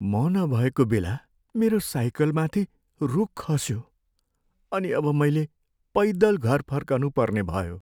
म नभएको बेला मेरो साइकलमाथि रूख खस्यो, अनि अब मैले पैदल घर फर्कनु पर्ने भयो।